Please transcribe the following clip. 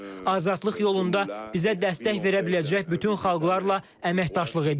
Azadlıq yolunda bizə dəstək verə biləcək bütün xalqlarla əməkdaşlıq edirik.